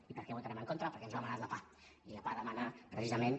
i per què votarem en contra perquè ens ho ha demanat la pah i la pah demana precisament